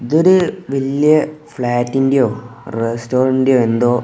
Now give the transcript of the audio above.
ഇതൊരു വലിയ ഫ്ലാറ്റിന്റെയോ റസ്റ്റോറന്റിന്റെയോ എന്തോ --